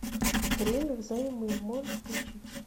время в займы можешь включить